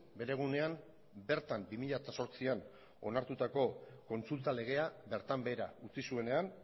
bere egunean bertan bi mila zortzian onartutako kontsulta legea bertan behera utzi zuenean